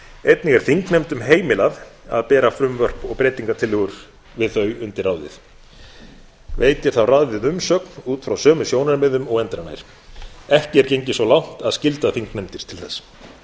einnig er þingnefndum heimilað að bera frumvörp og breytingartillögur við þau undir ráðið veitir þá ráðið umsögn út frá sömu sjónarmiðum og endranær ekki er gengið svo langt að skylda þingnefndir til þess